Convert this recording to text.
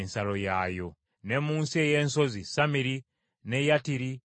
Ne mu nsi ey’ensozi, Samiri, n’e Yattiri, n’e Soko,